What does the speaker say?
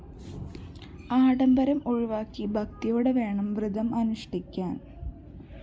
ആഡംബരം ഒഴിവാക്കി ഭക്തിയോടെവേണം വ്രതം അനുഷ്ഠിക്കാന്‍